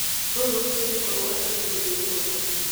Rũu rũtingĩkorwo nĩ ũthiomi rũmwe